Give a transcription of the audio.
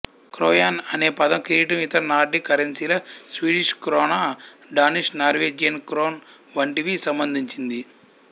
క్రోయాన్ అనే పదం కిరీటం ఇతర నార్డిక్ కరెన్సీల Swedish krona Danish Norwegian krone వంటివి సంబంధించింది